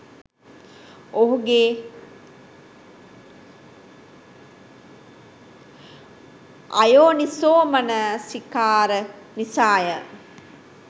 ඔහුගේ අයෝනිසෝමනසිකාර නිසාය.